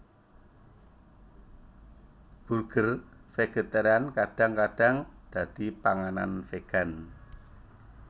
Burger vegetarian kadang kadang dadi panganan vegan